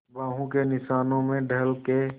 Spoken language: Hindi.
बाहों के निशानों में ढल के